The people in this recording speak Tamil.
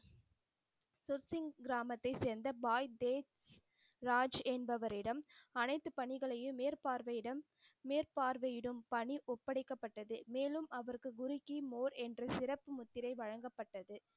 கிராமத்தை சேர்ந்த பாய் தேஜ் ராஜ் என்பவரிடம் அனைத்து பணிகளையும் மேற்பார்வையிடும் மேற்பார்வையிடும் பணி ஒப்படைக்கப்பட்டது. மேலும் அவருக்கு குரு கி மோர் என்ற சிறப்பு முத்திரை வழங்கப்பட்டது.